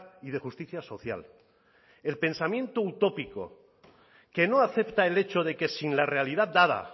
y de justicia social el pensamiento utópico que no acepta el hecho de que sin la realidad dada